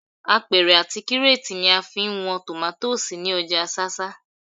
Apẹ̀rẹ̀ àti kírétì ni a fi ń wọn tòmátósì ní ọjà ṣáṣá